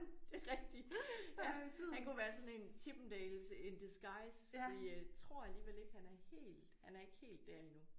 Det er rigtig han kunne være sådan en Chippendales in disguise fordi tror alligevel ikke han er helt han er ikke helt der endnu